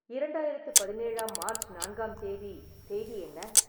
இரண்டாயிரத்து பதினேழாம் மார்ச் நான்காம் தேதி செய்தி என்ன